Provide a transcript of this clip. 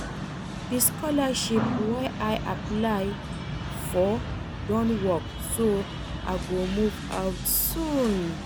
The scholarship wey I apply for don work so I go move out soon